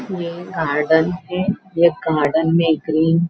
ये गार्डन है ये गार्डन में ग्रीन --